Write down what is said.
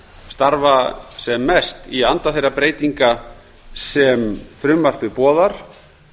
starfa sem mest í anda þeirra breytinga sem frumvarpið boðar